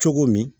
Cogo min